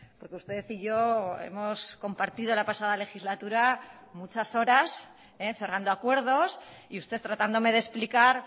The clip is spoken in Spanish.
porque usted y yo hemos compartido la pasada legislatura muchas horas cerrando acuerdos y usted tratándome de explicar